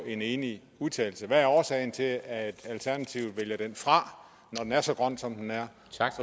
en enig udtalelse hvad er årsagen til at alternativet vælger den fra når den er så grøn som den er